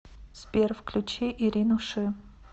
сбер включи ирину ши